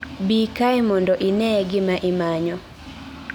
dii kae mondo inee gima imanyo